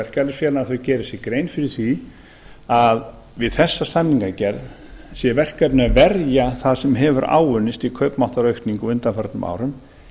verkalýðsfélaganna að þau geri sér grein fyrir því að við þessa samningagerð sé verkefnið að verja það sem hefur áunnist í kaupmáttaraukningu á undanförnum árum